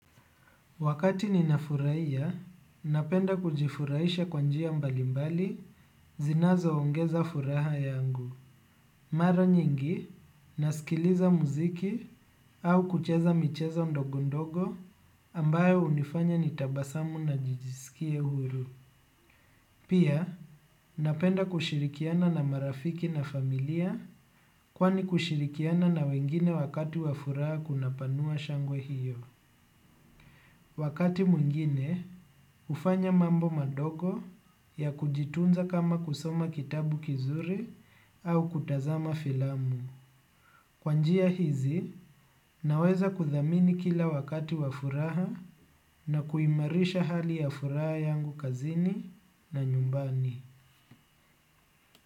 Wakati ninafuraia, napenda kujifuraisha kwa njia mbali mbali, zinazo ongeza furaha yangu. Mara nyingi, nasikiliza muziki au kucheza michezo ndogo ndogo ambayo unifanya nitabasamu na nijisikie huru. Pia, napenda kushirikiana na marafiki na familia kwani kushirikiana na wengine wakati wa furaha kunapanua shangwe hiyo. Wakati mwingine, ufanya mambo madogo ya kujitunza kama kusoma kitabu kizuri au kutazama filamu. Kwa njia hizi, naweza kuthamini kila wakati wa furaha na kuimarisha hali ya furaha yangu kazini na nyumbani.